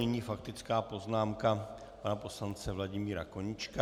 Nyní faktická poznámka pana poslance Vladimíra Koníčka.